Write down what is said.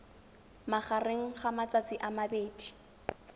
magareng ga matsatsi a mabedi